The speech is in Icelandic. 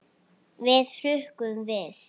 Við hrukkum við.